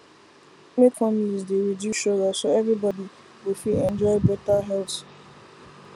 make families dey reduce sugar so everybody go fit enjoy better health